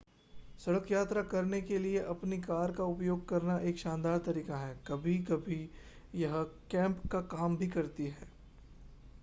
सड़क यात्रा करने के लिए अपनी कार का उपयोग करना एक शानदार तरीका है कभी कभी यह कैंप”का काम भी करती है।